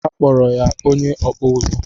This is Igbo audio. A kpọrọ ya "ọkpụ ụzụ́"